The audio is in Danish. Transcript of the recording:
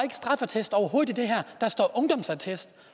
straffeattest i det her der står ungdomsattest